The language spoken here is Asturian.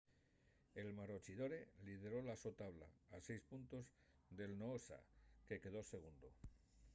el maroochydore lideró la so tabla a seis puntos del noosa que quedó segundu